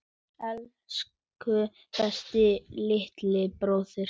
Elsku besti litli bróðir.